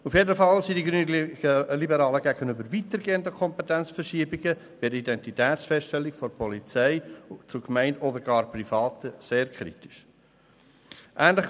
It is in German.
Auf jeden Fall stehen die Grünliberalen weitergehenden Kompetenzverschiebungen bei der Identitätsfeststellung von der Polizei zu Gemeinden oder sogar Privaten sehr kritisch gegenüber.